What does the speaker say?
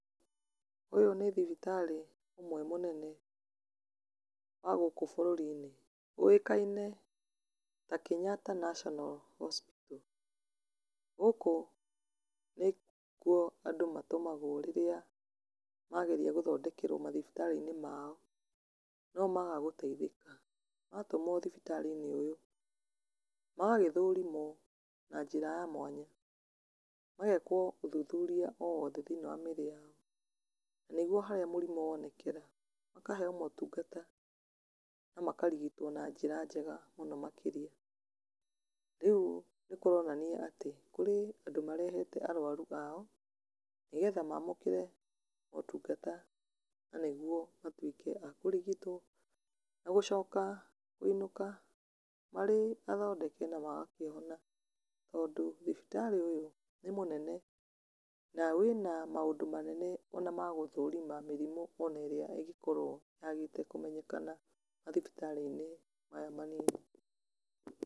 Ũyũ nĩ thibitarĩ ũmwe mũnene wa gũkũ bũrũri-inĩ, ũĩkaine ta Kenyatta National Hosipital, gũkũ nĩkuo andũ matũmagwo rĩrĩa mageria gũthondekerwo mathibitarĩ -inĩ mao no maga gũteithĩka, matũmwo thibitarĩ-inĩ ũyũ magagĩthorimwo na njĩra ya mwanya, magekwo ũthuthuria o wothe thĩinĩ wa mĩrĩ yao, na nĩguo harĩa mũrimũ wonekera, makaheyo motungata na makarigitwo na njĩra njega mũno makĩria, rĩu nĩ kũronania atĩ, kũrĩ andũ marehete arwaru ao, nĩ getha mamũkĩre motungata na nĩguo matuĩke a kũrigitwo, na gũcoka kũinũka marĩ athondeke na magakĩhona, tondũ thibitarĩ ũyũ nĩ mũnene, na wĩna maũndũ manene ona magũthorima mĩrimũ ona ĩrĩa ĩngĩkorwo yagĩte kũmenyekana mathibitarĩ-inĩ maya manini.